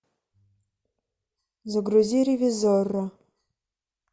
загрузи ревизорро